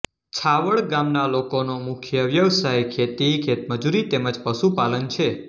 છાવડ ગામના લોકોનો મુખ્ય વ્યવસાય ખેતી ખેતમજૂરી તેમ જ પશુપાલન છે